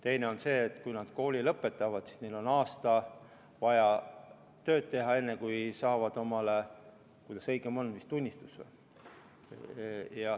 Teine on see, et kui nad kooli lõpetavad, siis neil on vaja aasta tööd teha, enne kui nad saavad tunnistuse.